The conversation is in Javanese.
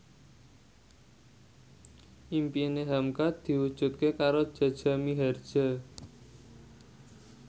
impine hamka diwujudke karo Jaja Mihardja